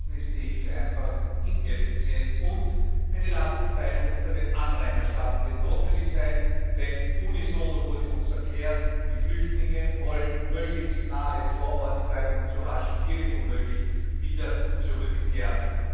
Ansonsten ist die Hilfe einfach ineffizient, und eine Lastenteilung unter den Anrainerstaaten wird notwendig sein, denn unisono wurde uns erklärt Die Flüchtlinge wollen möglichst nahe vor Ort bleiben und so rasch wie irgend möglich wieder zurückkehren.